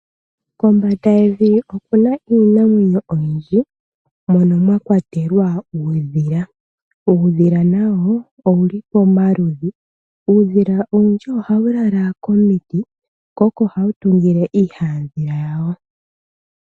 Kombanda yevi oku na iinamwenyo oyindji mono mwa kwatelwa uudhila. Uudhila nawo owu li pamaludhi. Uudhila owundji ohawu lala komiti ko oko hawu tungile iihandhila yawo.